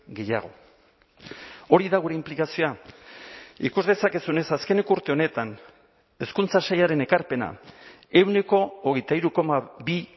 gehiago hori da gure inplikazioa ikus dezakezunez azkeneko urte honetan hezkuntza sailaren ekarpena ehuneko hogeita hiru koma bi